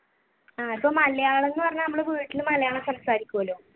ആഹ് ഇപ്പൊ മലയാളം എന്ന് പറഞ്ഞ നമ്മൾ വീട്ടിൽ മലയാളം സംസാരിക്കുമല്ലോ.